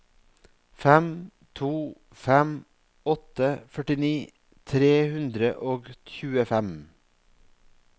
fem to fem åtte førtini tre hundre og tjuefem